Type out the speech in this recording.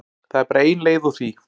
Það er bara ein leið úr því.